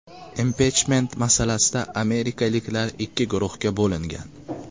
Impichment masalasida amerikaliklar ikki guruhga bo‘lingan.